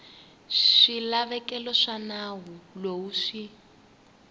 swilaveko swa nawu lowu swi